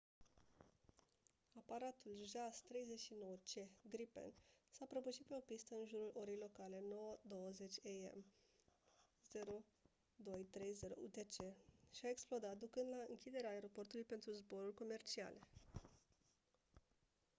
aparatul jas 39c gripen s-a prăbușit pe o pistă în jurul orei locale 9:20 a.m. 0230 utc și a explodat ducând la închiderea aeroportului pentru zboruri comerciale